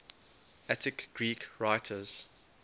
attic greek writers